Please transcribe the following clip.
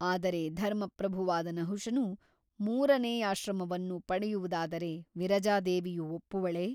ಆದರೆ ಧರ್ಮಪ್ರಭುವಾದ ನಹುಷನು ಮೂರನೆಯಾಶ್ರಮವನ್ನು ಪಡೆಯುವುದಾದರೆ ವಿರಜಾದೇವಿಯು ಒಪ್ಪುವಳೇ?